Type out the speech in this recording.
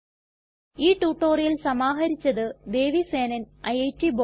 ഈ ട്യൂട്ടോറിയൽ സമാഹരിച്ചത് ദേവി സേനൻ ഐറ്റ് ബോംബേ